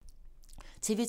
TV 2